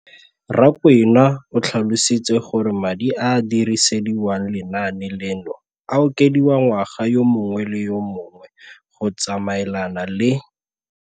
Rakwena o tlhalositse gore madi a a dirisediwang lenaane leno a okediwa ngwaga yo mongwe le yo mongwe go tsamaelana le.